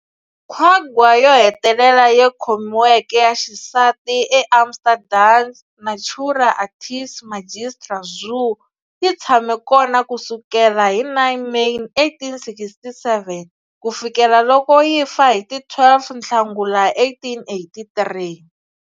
Quagga yo hetelela leyi khomiweke, ya xisati eAmsterdam's Natura Artis Magistra zoo, yi tshame kona ku sukela hi 9 May 1867 ku fikela loko yi fa hi ti 12 Nhlangula 1883.